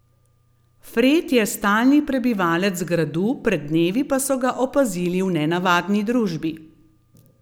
Fred je stalni prebivalec gradu, pred dnevi pa so ga opazili v nenavadni družbi.